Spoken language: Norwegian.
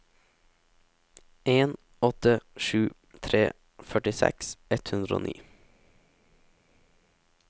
en åtte sju tre førtiseks ett hundre og ni